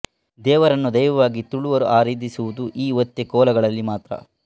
ದೇವರನ್ನು ದೈವವಾಗಿ ತುಳುವರು ಆರಾಧಿಸುವುದು ಈ ಒತ್ತೆ ಕೋಲಗಳಲ್ಲಿ ಮಾತ್ರ